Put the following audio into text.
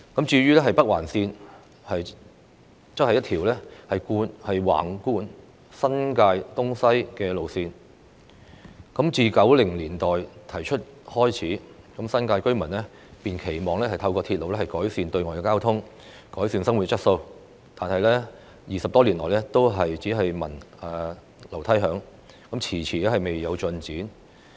至於北環綫則是一條橫貫新界東西的路線，自從政府於1990年代提出興建北環綫，新界居民便期望透過鐵路改善對外交通和改善生活質素，但這個項目20多年來只聞樓梯響，遲遲未有進展。